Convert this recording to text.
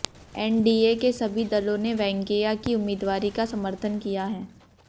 NDA के सभी दलों ने वेंकैया की उम्मीदवारी का समर्थन किया है